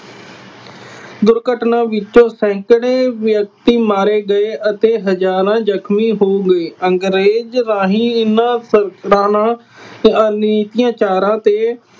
ਦੁਰਘਟਨਾ ਵਿੱਚ ਸੈਂਕੜੇ ਵਿਅਕਤੀ ਮਾਰੇ ਗਏ ਅਤੇ ਹਜ਼ਾਰਾਂ ਜ਼ਖਮੀ ਹੋ ਗਏ। ਅੰਗਰੇਜ਼ ਰਾਹੀਂ ਇਹਨਾ ਤੇ